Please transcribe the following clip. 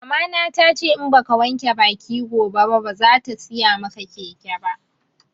Mama na tace in baka wanke baki gobe ba bazata siya maka keke ba